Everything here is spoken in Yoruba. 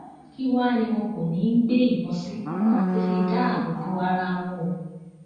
kí wàá ní wọn kò ní í gbé ìbọn sí láti fi dáàbò bo ara wọn o